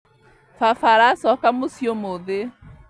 Baba aracoka mũciĩ ũmũthĩ